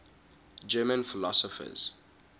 german philosophers